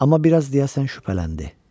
Amma biraz deyəsən şübhələndi.